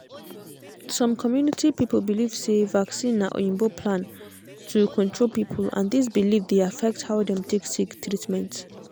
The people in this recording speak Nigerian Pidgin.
some community people believe say vaccine na oyinbo plan to control people and this belief dey affect how dem take seek treatment.